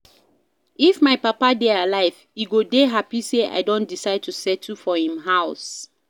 If my papa dey alive he go dey happy say I don decide to settle for im house